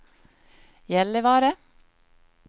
Gällivare